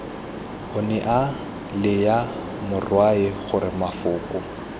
onea laya morwae gore mafoko